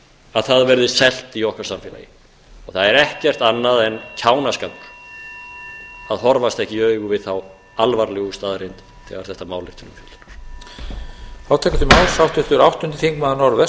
að það verði selt í okkar samfélagi og það er ekkert annað en kjánaskapur að horfast ekki í augu við þá alvarlegu staðreynd þegar þetta mál er til umfjöllunar